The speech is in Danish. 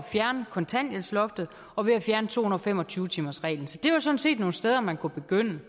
fjerne kontanthjælpsloftet og ved at fjerne to hundrede og fem og tyve timersreglen så det var sådan set nogle steder man kunne begynde mit